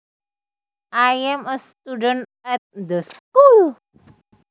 I am a student at the school